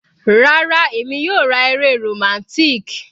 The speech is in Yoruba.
Rárá, èmi yóò ra eré romantic.